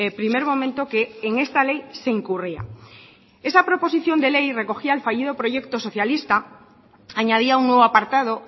primer momento que en esta ley se incurría esa proposición de ley recogía el fallido proyecto socialista añadía un nuevo apartado